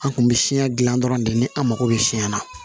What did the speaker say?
An kun bɛ siɲɛ dilan dɔrɔn de ni an mago bɛ siɲɛ na